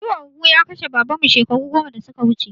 Ciwon huhu ya kashe Baban mu shekaru goma da suka wuce